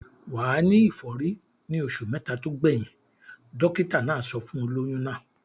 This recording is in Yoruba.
Wà á ní ìfọ́rí ní oṣù mẹ́ta tó gbẹ̀yìn. Dọ́kítá náà sọ fún olóyún náà.